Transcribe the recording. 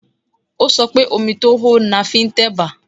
Ó sọ pé, omi tó hó ni a fi ń tẹ̀bà